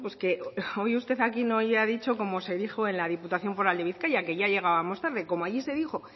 bueno pues hoy usted aquí no haya dicho como se dijo en la diputación foral de bizkaia que ya llegábamos tarde como allí se dijo